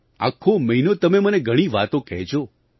આખો મહિનો તમે મને ઘણી વાતો કહેજો